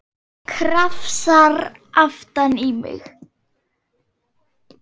Krafsar aftan í mig.